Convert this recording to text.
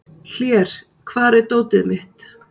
Hlér, hvar er dótið mitt?